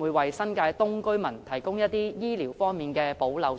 會否為新界東居民提供醫療方面的補漏措施？